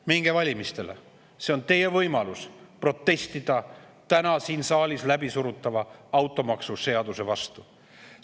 Minge valima, see on teie võimalus protestida täna siin saalis läbi surutava automaksuseaduse vastu!